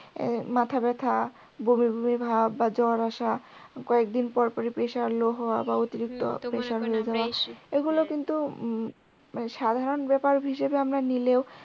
মাথা ব্যাথা বুমি বুমি ভাব বা জ্বর আসা কয়েকদিন পর পর ই pressure low হওয়া বা অতিরিক্তি pressure হয়ে যাওয়া এইগুলা কিন্তু সাধারণ ব্যাপার হিসেবে আমরা নিলেও